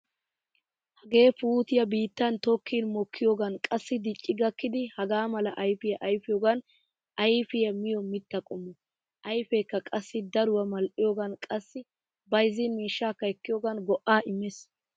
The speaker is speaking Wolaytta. Hagee puutiya biittan tokkin mokkiyogan qassi dicci gakkidi hagaa mala ayfiya ayfiyoogan ayfiya miyo mitta qommo. Ayfeekka qassi daruwa Mal"iyoogan qassi bayzzin miishshaakka ekkiyogan go'aa immees.